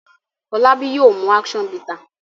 Folabi yóò mú action bitter.